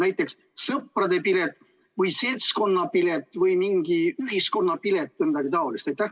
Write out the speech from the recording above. Näiteks "sõprade pilet" või "seltskonnapilet" või mingi "ühiskonnapilet" või midagi taolist?